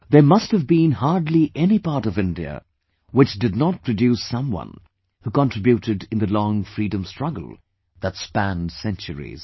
There must've been hardly any part of India, which did not produce someone who contributed in the long freedom struggle, that spanned centuries